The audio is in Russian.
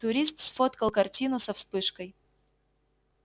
турист сфоткал картину со вспышкой